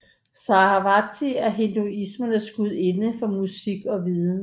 Sarasvati er hinduismens gudinde for musik og viden